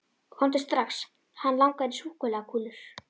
Komdu strax, hann langar í súkkulaðikúlur.